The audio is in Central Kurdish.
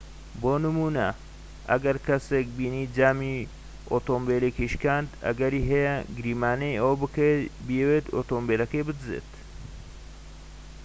بۆ نمونە ئەگەر کەسێكت بینی جامی ئۆتۆمبیلێکی شکاند ئەگەری هەیە گریمانەی ئەوە بکەیت بیەوێت ئۆتۆمبیلەکە بدزێت